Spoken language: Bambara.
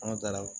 Anw taara